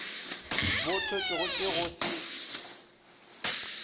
bo hlotšwego ke go se